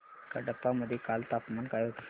कडप्पा मध्ये काल तापमान काय होते